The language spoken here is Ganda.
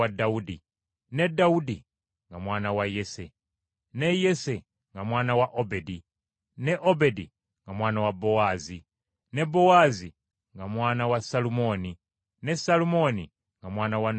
ne Dawudi nga mwana wa Yese, ne Yese nga mwana wa Obedi, ne Obedi nga mwana wa Bowaazi, ne Bowaazi nga mwana wa Salumooni, ne Salumooni nga mwana wa Nakusoni,